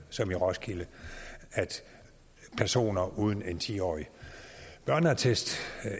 som i roskilde at personer uden en ti årig børneattest